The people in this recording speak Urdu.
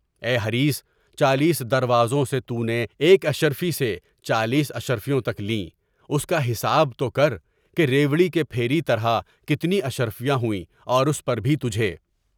اے حریص! چالیس دروازوں سے تونے ایک اشرفی سے چالیس اشرفیاں تک لیں، اس کا حساب تو کر کہ رپوڑی کے پھیری طرح کتنی اشرفیاں ہوئیں اور اس پر بھی تجھے۔